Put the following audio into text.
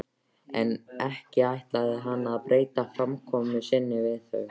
En ekki ætlaði hann að breyta framkomu sinni við þau.